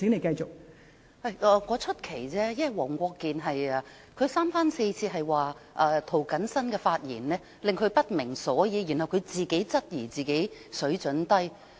我只是感到奇怪，因為黃國健議員三番四次說涂謹申議員的發言令他不明所以，然後他自己質疑自己水準低。